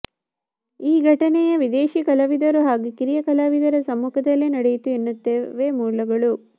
ಈ ಘಟನೆಯ ವಿದೇಶಿ ಕಲಾವಿದರು ಹಾಗೂ ಕಿರಿಯ ಕಲಾವಿದರ ಸಮ್ಮುಖದಲ್ಲೇ ನಡೆಯಿತು ಎನ್ನುತ್ತವೆ ಮೂಲಗಳು